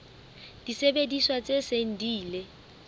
disebediswa tse seng di ile